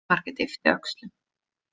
Margrét yppti öxlum.